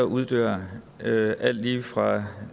uddør alt lige fra